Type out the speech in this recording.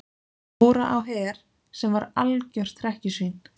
Dóra á Her sem var algjört hrekkjusvín.